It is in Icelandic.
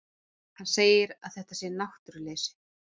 Hann segir að þetta sé náttúruleysi.